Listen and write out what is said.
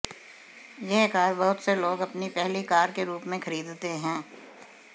यह कार बहुत से लोग अपनी पहली कार के रूप में खरीदते हैं